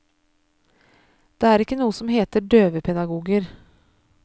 Det er ikke noe som heter døvepedagoger.